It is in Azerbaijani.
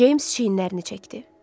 Ceyms çiyinlərini çəkdi.